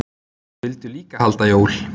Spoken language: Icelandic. Vildu líka halda jól.